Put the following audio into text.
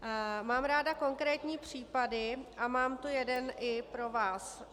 Mám ráda konkrétní případy a mám tu jeden i pro vás.